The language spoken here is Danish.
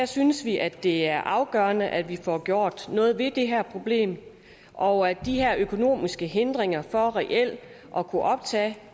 synes vi at det er afgørende at vi får gjort noget ved det her problem og at de her økonomiske hindringer for reelt at kunne optage